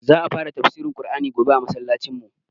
Za a fara tafsirin Ƙur'ani gobe a masallacin mu